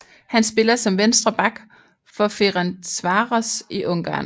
Han spiller som venstre back for Ferencváros i Ungarn